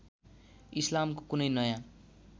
इस्लामको कुनै नयाँ